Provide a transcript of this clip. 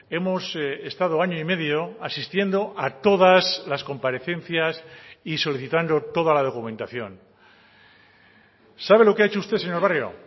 hemos estado año y medio asistiendo a todas las comparecencias y solicitando toda la documentación sabe lo que ha hecho usted señor barrio